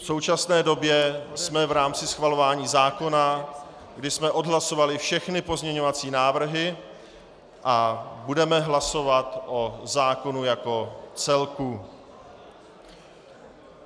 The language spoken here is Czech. V současné době jsme v rámci schvalování zákona, kdy jsme odhlasovali všechny pozměňovací návrhy, a budeme hlasovat o zákonu jako celku.